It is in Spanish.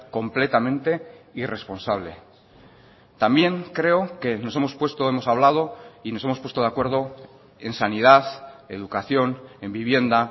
completamente irresponsable también creo que nos hemos puesto hemos hablado y nos hemos puesto de acuerdo en sanidad educación en vivienda